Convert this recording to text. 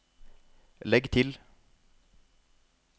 legg til